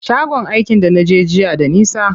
Shagon aikin da naje jiya da nisa.